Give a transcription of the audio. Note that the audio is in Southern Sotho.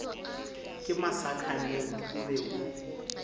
ka masakaneng o be o